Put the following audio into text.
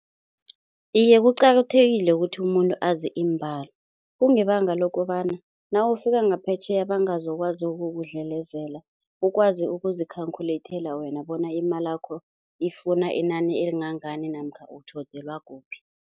Iye, kuqakathekile ukuthi umuntu azi iimbalo kungebanga lokobana nawufika ngaphetjheya bangazokwazi ukukudlelezela, ukwazi ukuzi-calculate wena bona imalakho ifuna inani elingangani namkha utjhodelwa kuphi.